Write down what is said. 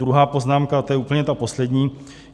Druhá poznámka - to je úplně ta poslední.